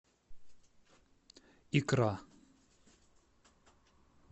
икра